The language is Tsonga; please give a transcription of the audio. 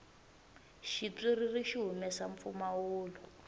xitswiriri xi humesa mpfumawulo